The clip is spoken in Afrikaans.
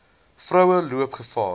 vroue loop gevaar